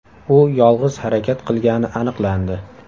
U yolg‘iz harakat qilgani aniqlandi.